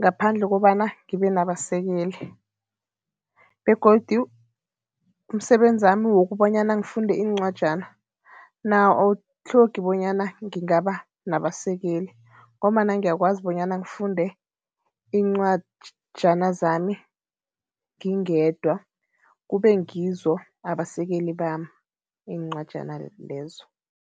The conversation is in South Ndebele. ngaphandle kobana ngibe nabasekeli begodu umsebenzami wokobanyana ngifunde iincwajana, nawo awutlhogi bonyana ngingaba nabasekeli ngombana ngiyakwazi bonyana ngifunde iincwajana zami ngingedwa, kube ngizo abasekeli bami iincwajana lezo.